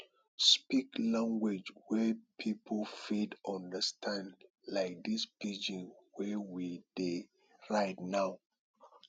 speak language wey pipo fit understand like this pidgin wey we dey write now